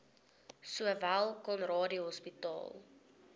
sowel conradie hospitaal